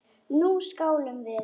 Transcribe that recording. Nú skálum við!